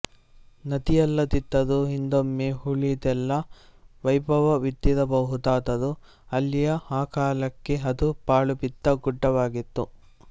ನದಿಯಲ್ಲದಿದ್ದರೂ ಹಿಂದೊಮ್ಮೆ ಉಳಿದೆಲ್ಲ ವೈಭವವಿದ್ದಿರಬಹುದಾದರೂ ಅಲ್ಲಿ ಆ ಕಾಲಕ್ಕೆ ಅದು ಪಾಳುಬಿದ್ದ ಗುಡ್ಡವಾಗಿತ್ತು